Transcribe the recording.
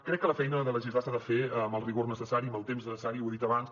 crec que la feina de legislar s’ha de fer amb el rigor necessari amb el temps necessari ho he dit abans